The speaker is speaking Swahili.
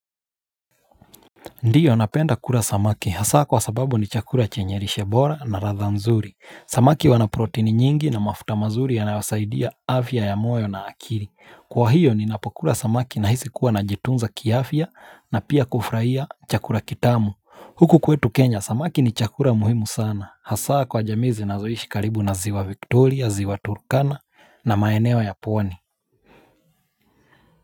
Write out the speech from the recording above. Ndiyo napenda kula samaki, hasa kwa sababu ni chakura chenye lishe bora na ladhaa nzuri. Samaki wana protini nyingi na mafuta mazuri yanayosaidia afya ya moyo na akili. Kwa hiyo ninapokula samaki na hisi kuwa najitunza kiafya na pia kufurahia chakula kitamu. Huku kwetu kenya, samaki ni chakula muhimu sana. Hasa kwa jamii zinazoishi karibu na ziwa Victoria, ziwa Turkana na maeneo ya pwani.